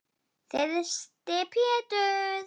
Þyrsti Pétur.